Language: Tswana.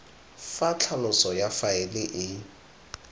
fa tlhaloso ya faele e